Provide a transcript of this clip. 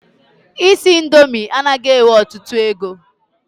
Isi indomi anaghị ewe ọtụtụ ego.